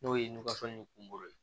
N'o ye ni kungoro ye